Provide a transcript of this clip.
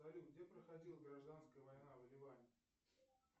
салют где проходила гражданская война в ливане